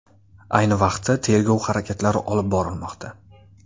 Ayni vaqtda tergov harakatlari olib borilmoqda.